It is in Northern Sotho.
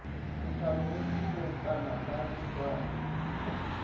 ke hlagoletše leokana la mešwana